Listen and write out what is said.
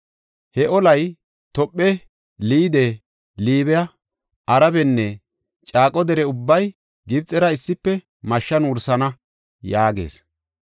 He olay Tophe, Liide, Liibe, Arabenne caaqo dere ubbay Gibxera issife mashshan wursana” yaagees.